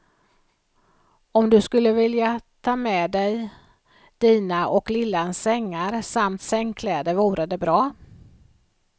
Om du skulle vilja ta med dig dina och lillans sängar samt sängkläder vore det bra.